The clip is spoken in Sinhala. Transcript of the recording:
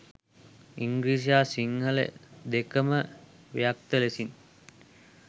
ඉංග්‍රීසි හා සිංහල දෙක ම ව්‍යක්ත ලෙසින්